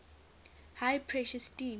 high pressure steam